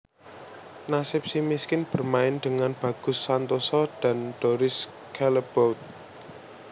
Nasib Si Miskin bermain dengan Bagus Santoso dan Doris Callebaute